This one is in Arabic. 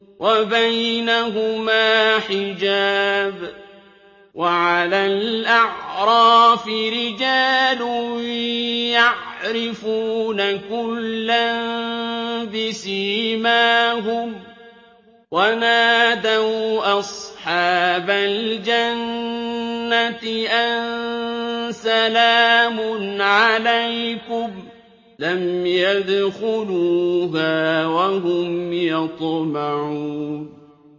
وَبَيْنَهُمَا حِجَابٌ ۚ وَعَلَى الْأَعْرَافِ رِجَالٌ يَعْرِفُونَ كُلًّا بِسِيمَاهُمْ ۚ وَنَادَوْا أَصْحَابَ الْجَنَّةِ أَن سَلَامٌ عَلَيْكُمْ ۚ لَمْ يَدْخُلُوهَا وَهُمْ يَطْمَعُونَ